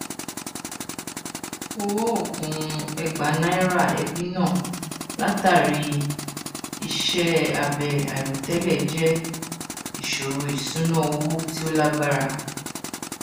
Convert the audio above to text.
ọwọ oògùn ẹgbàá naira ẹbí náà látàrí iṣẹ abẹ àìròtẹlẹ jẹ ìṣòro ìṣúná owó tí ó lágbára